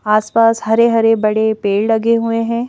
आस-पास हरे-हरे बड़े पेड़ लगे हुए हैं।